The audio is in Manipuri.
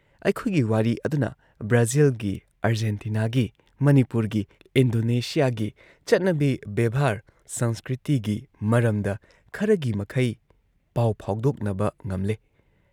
ꯑꯩꯈꯣꯏꯒꯤ ꯋꯥꯔꯤ ꯑꯗꯨꯅ ꯕ꯭ꯔꯥꯖꯤꯜꯒꯤ, ꯑꯔꯖꯦꯟꯇꯤꯅꯥꯒꯤ, ꯃꯅꯤꯄꯨꯔꯒꯤ, ꯏꯟꯗꯣꯅꯦꯁꯤꯌꯥꯒꯤ ꯆꯠꯅꯕꯤ ꯕꯦꯕ꯭ꯍꯥꯔ ꯁꯪꯁꯀ꯭ꯔꯤꯇꯤꯒꯤ ꯃꯔꯝꯗ ꯈꯔꯒꯤ ꯃꯈꯩ ꯄꯥꯎ ꯐꯥꯎꯗꯣꯛꯅꯕ ꯉꯝꯂꯦ